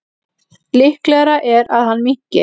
Líklegra er að hann minnki.